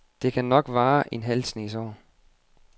Det kan nok vare en halv snes år.